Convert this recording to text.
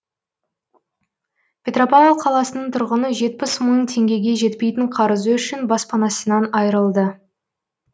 петропавл қаласының тұрғыны жетпіс мың теңгеге жетпейтін қарызы үшін баспанасынан айырылды